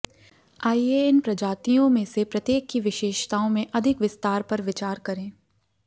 आइए इन प्रजातियों में से प्रत्येक की विशेषताओं में अधिक विस्तार पर विचार करें